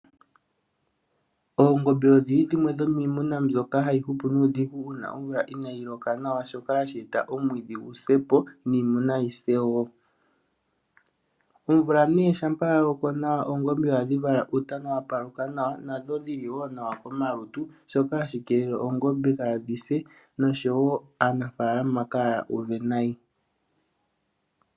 Oongombe odhili dhimwe dhomiimuna mbyoka hayi hupu nuudhigu uuna omvula inaayi loka nawa. Shoka hashi eta omwiidhi gu sepo, niimuna yi se wo. Omvula nee shampa ya loko nawa Oongombe ohadhi vala Uutana wa paluka nawa nadho dhili wo nawa komalutu. Shoka hashi keelele Oongombe kaadhi se nosho wo aanafaalama kaya uve nayi.